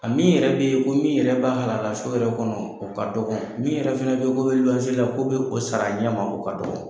A min yɛrɛ be ye ko min yɛrɛ b'a halala so yɛrɛ kɔnɔ, o ka dɔgɔn. Min yɛrɛ fɛnɛ be ye k'o be luwanse la, k'o be k'o sar'a ɲɛma, o ka dɔgɔn.